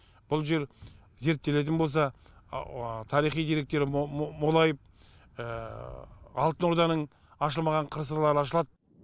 бұл жер зерттелетін болса тарихи деректер молайып алтын орданың ашылмаған қыр сырлары ашылады